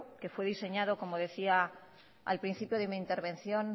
que fue diseñado como decía al principio de mi intervención